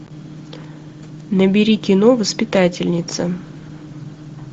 набери кино воспитательница